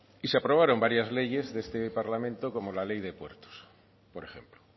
y se aprobaron varias leyes de este parlamento como la ley de puertos por ejemplo